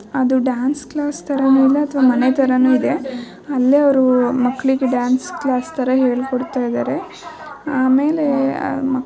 ಅದು dance class ತರನು ಇಲ್ಲ ಮತ್ತೆ ಮನೆ ತರನು ಇದೆ. ಅಲ್ಲೆ ಅವ್ರು ಅವರು ಮಕ್ಕಳಿಗೆ ಡ್ಯಾನ್ಸ್ ಕ್ಲಾಸ್ ತರ ಹೇಳ್ಕೊಡ್ತಾಇದಾರೆ ಆಮೇಲೆ --